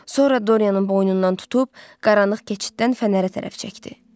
Sonra Doryanın boynundan tutub qaranlıq keçiddən fənərə tərəf çəkdi.